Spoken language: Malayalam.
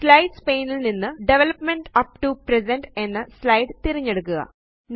സ്ലൈഡ്സ് പാനെ ല് നിന്ന് ഡെവലപ്പ്മെന്റ് അപ്പ് ടോ പ്രസന്റ് എന്ന സ്ലൈഡ് തിരഞ്ഞെടുക്കുക